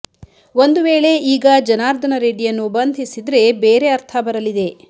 ಒಂದು ವೇಳೆ ಈಗ ಜನಾರ್ದನ ರೆಡ್ಡಿಯನ್ನು ಬಂಧಿಸಿದ್ರೆ ಬೇರೆ ಅರ್ಥ ಬರಲಿದೆ